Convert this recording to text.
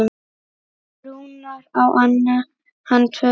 Rúnar, á hann tvö börn.